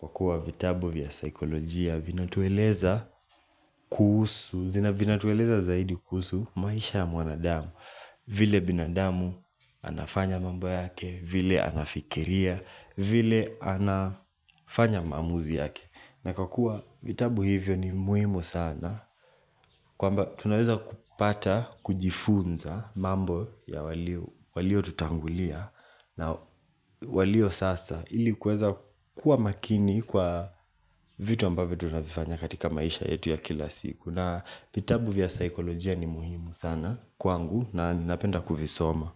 Kwa kuwa vitabu vya saikolojia vina tueleza kuhusu zina vina tueleza zaidi kuhusu maisha ya mwanadamu vile binadamu anafanya mambo yake, vile anafikiria, vile anafanya maamuzi yake na kwa kuwa vitabu hivyo ni muhimu sana kwamba tunaweza kupata, kujifunza mambo ya waliotutangulia na walio sasa ilikuweza kuwa makini kwa vitu ambavyo tunavifanya katika maisha yetu ya kila siku na vitabu vya saikolojia ni muhimu sana kwangu na ninapenda kuvisoma.